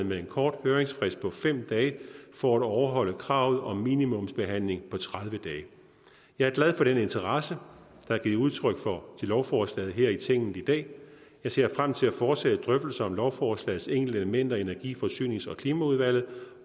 med en kort høringsfrist på fem dage for at overholde kravet om minimumsbehandling på tredive dage jeg er glad for den interesse der er givet udtryk for for lovforslaget her i tinget i dag jeg ser frem til at fortsætte drøftelserne om lovforslagets enkelte elementer i energi forsynings og klimaudvalget